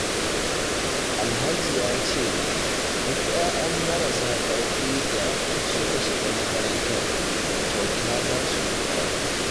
Alhaji ya ce, duk 'ya'yan marasa ƙarfi da suka shiga makarantar, kyauta za su yi karatu